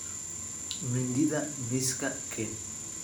mindida miiska keen.